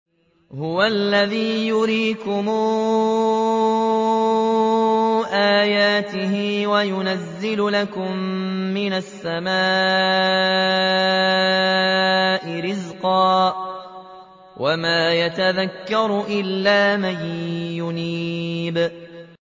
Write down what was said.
هُوَ الَّذِي يُرِيكُمْ آيَاتِهِ وَيُنَزِّلُ لَكُم مِّنَ السَّمَاءِ رِزْقًا ۚ وَمَا يَتَذَكَّرُ إِلَّا مَن يُنِيبُ